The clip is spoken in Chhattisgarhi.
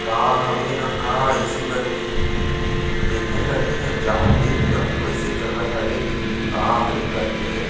का हवे ना का ऐसे करके देखे लगी न जात देख के आहु कइसे जगह हरे का हरे करके --